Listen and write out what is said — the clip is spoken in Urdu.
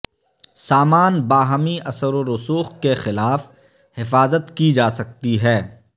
سامان باہمی اثر و رسوخ کے خلاف حفاظت کی جا سکتی ہے